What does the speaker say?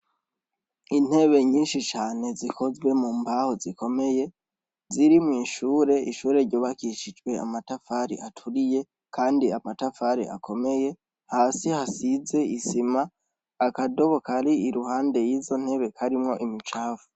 Intebe nyinshi cane zikozwe mumbaho zikomeye ziri mw'ishure, ishure ryubakishijwe amatafari aturiye kandi amatafari akomeye, hasi hasize isima, akadobo kari iruhande y'izo ntebe karimwo imicafu.